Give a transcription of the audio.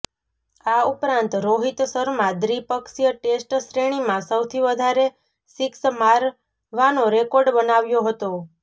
આ ઉપરાંત રોહિત શર્મા દ્વી પક્ષીય ટેસ્ટ શ્રેણીમાં સૌથી વધારે સિક્સ મારવાનો રેકોર્ડ બનાવ્યો હતો